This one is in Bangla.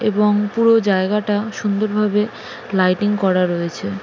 এবং পুরো জায়গাটা সুন্দর ভাবে লাইটিং করা রয়েছে।